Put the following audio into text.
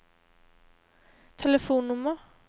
telefonnummer